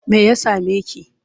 Me ya same ki?